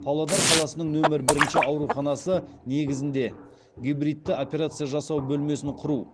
павлодар қаласының нөмір бірінші ауруханасы негізінде гибридті операция жасау бөлмесін құру